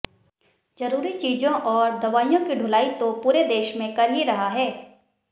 जरूरी चीजों और दवाइयों की ढुलाई तो पूरे देश में कर ही रहा है